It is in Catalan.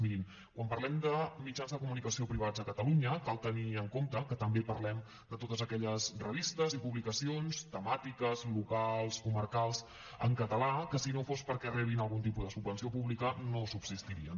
mirin quan parlem de mitjans de comunicació privats a catalunya cal tenir en compte que també parlem de totes aquelles revistes i publicacions temàtiques locals comarcals en català que si no fos perquè reben algun tipus de subvenció pública no subsistirien